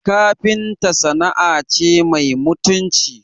Kafinta sana'a ce mai mutunci